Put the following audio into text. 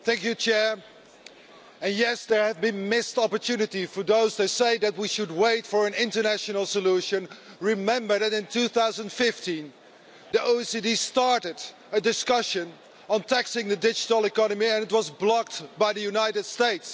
Mr President, yes, there have been missed opportunities for those that say that we should wait for an international solution. Remember that, in 2015, the OECD started a discussion on taxing the digital economy, and it was blocked by the United States.